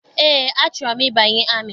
Eé, achọrọ m ịbanye amị.